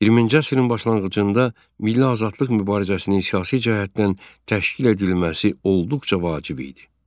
20-ci əsrin başlanğıcında milli azadlıq mübarizəsinin siyasi cəhətdən təşkil edilməsi olduqca vacib idi.